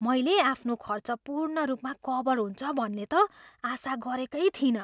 मैले आफ्नो खर्च पूर्ण रूपमा कभर हुन्छ भन्ने त आशा गरेकै थिइनँ।